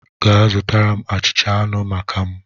Gaa zụta achịcha anụ maka m!